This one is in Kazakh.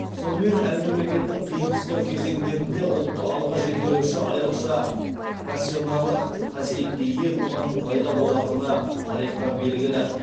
сонымен әр мемлекеттің қиын қыстау кезеңдерінде ұлтты алға жетелеуші айрықша пассионарлық қасиетке ие тұлғаның пайда болатыны тарихтан белгілі